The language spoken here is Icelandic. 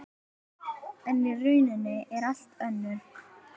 En raunin er allt önnur.